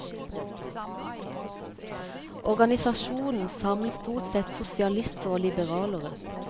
Organisasjonen samlet stort sett sosialister og liberalere.